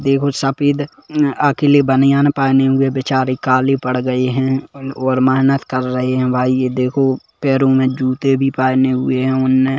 देखो सफेद अकेले बनियान पहने हुए बिचारे काले पड़ गए है और मेहनत कर रहे है भाई यह देखो पैरों में जूते भी पहने हुए है उने--